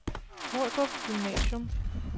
Ordrup Gymnasium